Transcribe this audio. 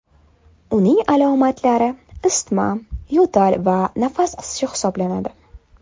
Uning alomatlari isitma, yo‘tal va nafas qisishi hisoblanadi.